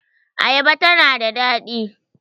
Ayaba ta na da daɗi